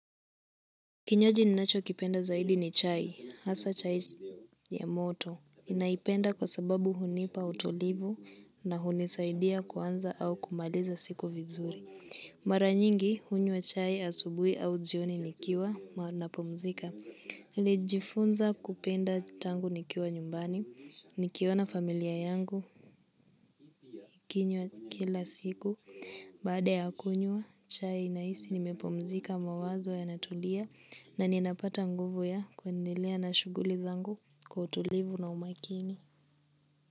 Kinywaji ninacho kipenda zaidi ni chai, hasa chai ya moto. Ninaipenda kwa sababu hunipa utulivu na hunisaidia kuanza au kumaliza siku vizuri. Mara nyingi hunywa chai asubuhi au jioni nikiwa napumzika. Nilijifunza kupenda tangu nikiwa nyumbani, nikiwa na familia yangu, ikinywa kila siku. Baad ya kunywa, chai inaisi nimepumzika mawazo ya natulia na ninapata nguvu ya kuendelea na shughuli zangu kutulivu na umakini.